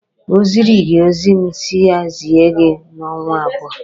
O ziri gị ozi m si ya zie gị n'ọnwa abụọ?